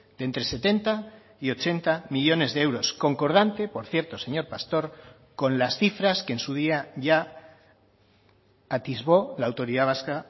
de entre setenta y ochenta millónes de euros concordante por cierto señor pastor con las cifras que en su día ya atisbó la autoridad vasca